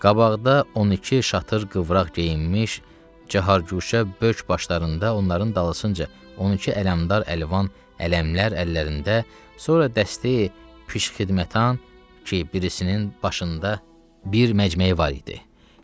Qabaqda 12 şatır qıvraq geyinmiş, cəhargüşə böyk başlarında, onların dalısınca 12 ələmdar əlvan ələmlər əllərində, sonra dəsteyi piş xidmətan ki, birisinin başında bir məcməyi var idi.